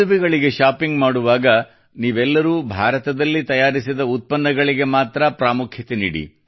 ಮದುವೆಗಳಿಗೆ shopping ಮಾಡುವಾಗ ನೀವೆಲ್ಲರೂ ಭಾರತದಲ್ಲಿ ತಯಾರಿಸಿದ ಉತ್ಪನ್ನಗಳಿಗೆ ಮಾತ್ರ ಪ್ರಾಮುಖ್ಯತೆ ನೀಡ